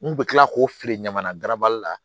N kun bɛ tila k'o feere ɲaman na garabali la